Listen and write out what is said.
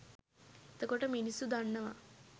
එතකොට මිනිස්සු දන්නවා